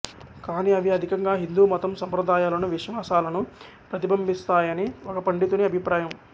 కాని అవి అధికంగా హిందూ మతం సంప్రదాయాలను విశ్వాసాలను ప్రతిబింబిస్తాయని ఒక పండితుని అభిప్రాయం